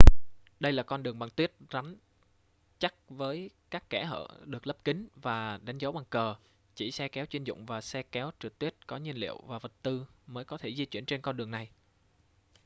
đây là con đường bằng tuyết rắn chắc với các kẽ hở được lấp kín và đánh dấu bằng cờ chỉ xe kéo chuyên dụng và xe kéo trượt tuyết có nhiên liệu và vật tư mới có thể di chuyển trên con đường này